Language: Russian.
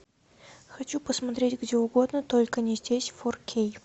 хочу посмотреть где угодно только не здесь фор кей